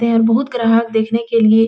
ते और बहुत ग्राहक देखने के लिए --